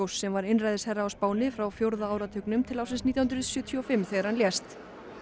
sem var einræðisherra á Spáni frá fjórða áratugnum til ársins nítján hundruð sjötíu og fimm þegar hann lést